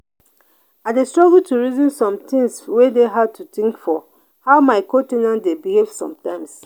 i dey struggle to reason some things wey dey hard to think for how my co- ten ants dey behave sometimes.